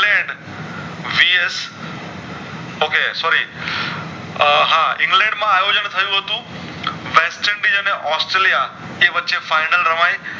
આ હા ઇંગ્લેન્ડ માં આયોજન થયું હતું વેસ્ટર્નડીશ અને ઑસ્ટ્રેલિયા જે વચ્ચે final રમાય